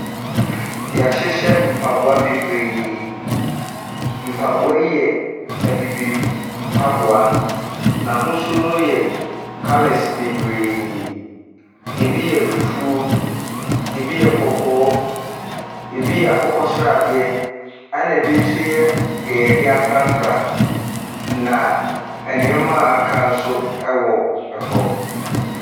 Yɛhyehyɛ mpaboa bebree, mpaboa yi yɛ abibifoɔ mpaboa. N'ahosuo no yɛ kalɛse bebree, ebi yɛ fufuo, ebi yɛ kɔkɔɔ, ebi yɛ akokɔsradeɛ ɛnna ebi nso yɛ deɛ yɛde afrafra, na nnoɔma a aka nso wɔ hɔ.